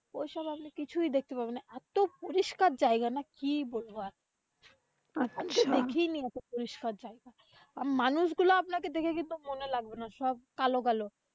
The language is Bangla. ওইসব আপনি কিছুই দেখতে পারবেন না। এত পরিষ্কার জায়গা না কি বলব আর মানুষগুলো আপনাকে দেখে কিন্তু মনে লাগবেনা সব কালো কালো।